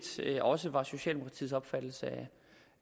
set også var socialdemokratiets opfattelse